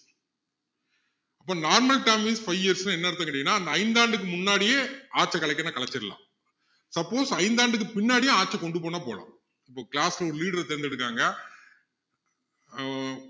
அப்போ normal term is five years னா என்ன அர்த்தம்னு கேட்டீங்கன்னா ஐந்து ஆண்டுக்கு முன்னாடியே ஆட்சியை கலைக்கிறதுன்னா கலைச்சிடலாம் suppose ஐந்து ஆண்டுக்கு பின்னாடியும் ஆட்சியை கொண்டு போகணும்னா போகலாம் இப்போ class ல ஒரு leader அ தேர்ந்து எடுக்காங்க ஹம்